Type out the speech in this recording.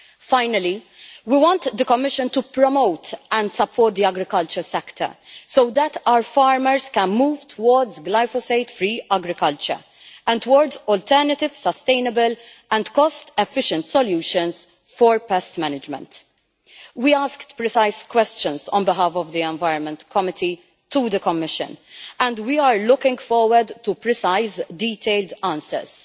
Finally, we want the Commission to promote and support the agricultural sector so that our farmers can move towards glyphosate free agriculture, and towards alternative sustainable and cost efficient solutions for pest management. We asked precise questions on behalf of the Environment Committee to the Commission, and we are looking forward to precise detailed answers.